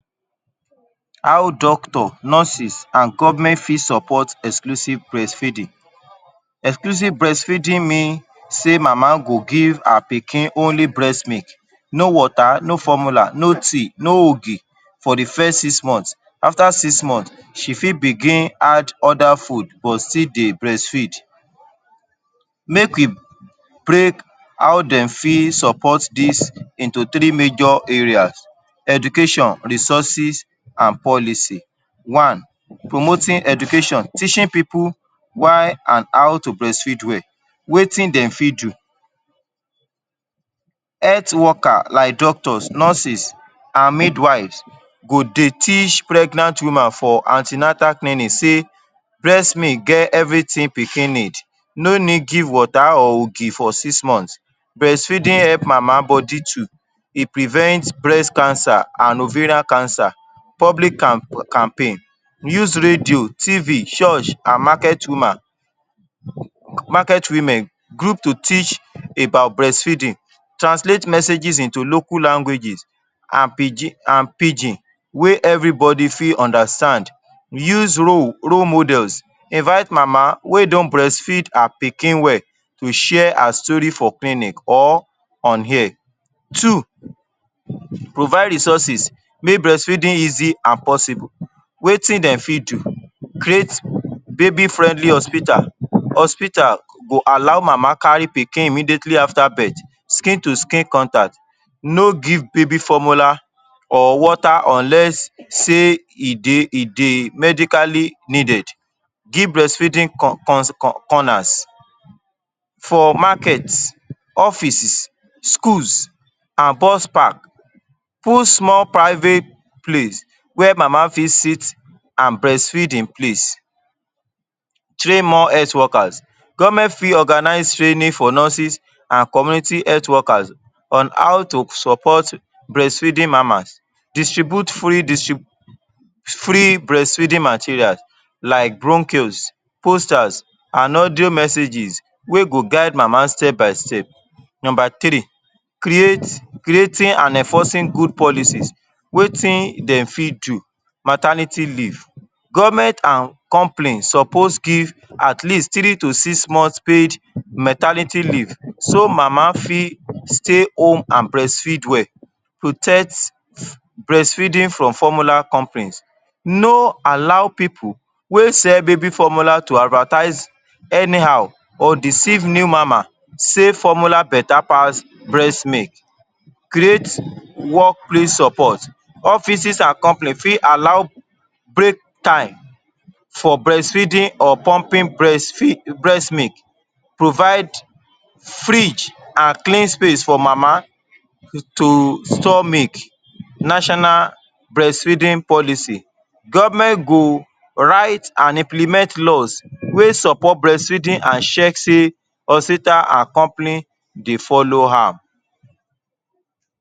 How doctor, nurses, an government fit support exclusive breastfeeding. Exclusive breastfeeding mean sey mama go give her pikin only breast milk, no water, no formula, no tea, no ogi for the first six month. After six month, she fit begin add other food but still dey breastfeed. Make we break how de fit support dis into three major areas: education, resources, an policy. One: Promoting Education – teaching pipu why an how to breastfeed well. Wetin de fit do? Health worker like doctors, nurses, an midwives go dey teach pregnant woman for an ten atal clinic sey breast milk get everything pikin need, no need give water or ogi for six month. Breastfeeding help mama body too. E prevent breast cancer an ovarian cancer. Public camp campaign: Use Radio, Tv, Church, an market woman, market women group to teach about breastfeeding. Translate messages into local languages an pidgin an pidgin wey everybody fit understand. Use role role models. Invite mama wey don breastfeed her pikin well to share her story for clinic or on air. Two: Provide resources make breastfeeding easy an possible. Wetin de fit do? Create baby friendly hospital: Hospital go allow mama carry pikin immediately after birth. Skin to skin contact, no give baby formula or water unless sey e dey e dey medically needed. Give breastfeeding corners for market, offices, schools, an bus park. Put small private place where mama fit sit an breastfeed in place. Train more health workers: Government fit organize training for nurses an community health workers on how to support breastfeeding mamas. Distribute fully free breastfeeding materials like brochures, posters, an audio messages wey go guide mama step-by-step. Nomba three: create creating an enforcing good policies. Wetin de fit do? Maternity leave: Government an company suppose give at least three to six month paid maternity leave so mama fit stay home an breastfeed well. Protect breastfeeding from formula companies. No allow pipu wey sell baby formula to advertise anyhow or deceive new mama sey formula beta pass breast milk. Create workplace support: Offices an company fit allow break time for breastfeeding or pumping breastfeed breast milk. Provide fridge an clean space for mama to store milk. National breastfeeding policy: Government go write an implement laws wey support breastfeeding an check sey hospital an company dey follow am.